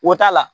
O t'a la